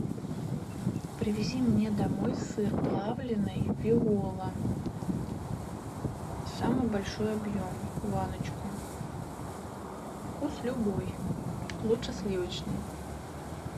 привези мне домой сыр плавленый виола самый большой объем баночку вкус любой лучше сливочный